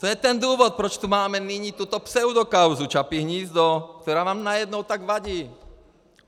To je ten důvod, proč tu nyní máme tuto pseudokauzu Čapí hnízdo, která vám najednou tak vadí.